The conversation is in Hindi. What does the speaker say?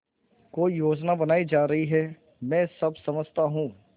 कोई योजना बनाई जा रही है मैं सब समझता हूँ